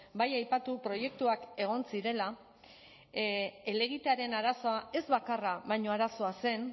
bai aipatu proiektuak egon zirela helegitearen arazoa ez bakarra baina arazoa zen